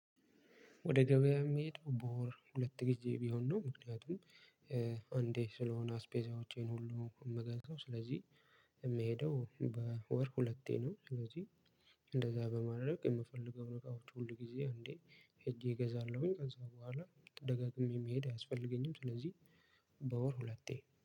ወደ ገበያ የምሄድ በወር ሁለት ግዜ ቢሆን ነው። ምክንያቱም አንዴ ስለሆነ አስፔዛዎቼን ሁሉ የምገዘው ስለዚህ የምሄደው በወር ሁለቴ ነው። ስለዚህ እንደዛ በማድረግ የምፈልገውን እቃዎች ሁል ጊዜ አንዴ ሄጄ እገዛለሁኝ። ከዛ በኋላ ደጋግሜ መሄድ አያስፈልገኝም። ስለዚህ በወር ሁለቴ